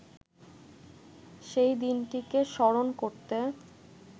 সেই দিনটিকে স্মরণ করতে